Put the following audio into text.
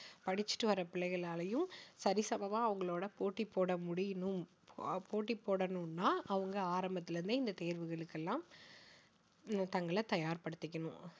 படிச்சிட்டு வர்ற பிள்ளைகளாலையும் சரி சமமா அவங்களோட போட்டி போட முடியணும் அ~ போட்டி போடணும்னா அவங்க ஆரம்பத்தில இருந்தே இந்த தேர்வுகளுக்கெல்லாம் தங்களை தயார்படுத்திக்கணும்